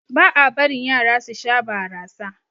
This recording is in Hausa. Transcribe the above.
Ba a barin Yara su Sha barasa.